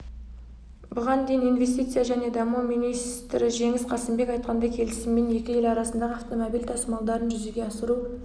бұған дейін инвестиция және даму министріжеңіс қасымбек айтқандай келісіммен екі ел арасындағы автомобиль тасымалдарын жүзеге асыру